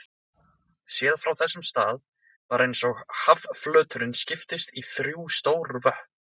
Séð frá þessum stað var eins og hafflöturinn skiptist í þrjú stór vötn.